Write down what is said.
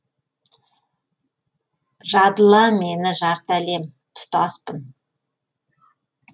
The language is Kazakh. жадыла мені жарты әлем тұтаспын